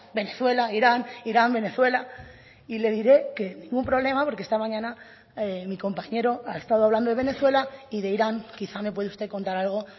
venezuela irán irán venezuela y le diré que ningún problema porque esta mañana mi compañero ha estado hablando de venezuela y de irán quizá me puede usted contar algo